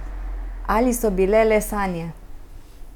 Ali so bile le sanje?